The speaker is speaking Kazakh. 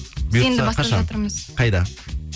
біз енді бастап жатырмыз қайда